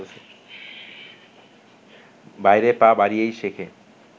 বাইরে পা বাড়িয়েই শেখে